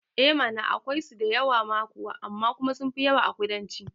Eh mana akwai so da yawa ma kuwa amma sunfi yawa a ƙudanci